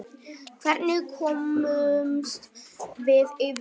Hvernig komumst við yfir það?